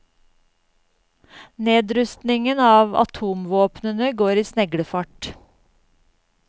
Nedrustningen av atomvåpnene går i sneglefart.